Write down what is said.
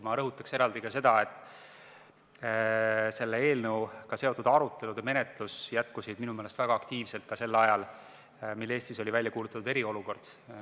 Ma rõhutan eraldi seda, et selle eelnõuga seotud arutelud jätkusid väga aktiivselt ka sel ajal, kui Eestis oli välja kuulutatud eriolukord.